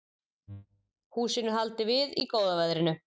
Húsinu haldið við í góða veðrinu